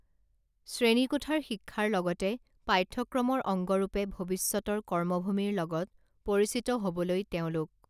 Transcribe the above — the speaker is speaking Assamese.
শ্ৰেণী কোঠাৰ শিক্ষাৰ লগতে পাঠ্যক্ৰমৰ অংগৰূপে ভৱিষ্যতৰ কৰ্মভূমিৰ লগত পৰিচিত হবলৈ তেওঁলোক